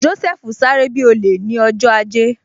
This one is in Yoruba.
Joseph sáré bi olè ni ọjọ́ ajé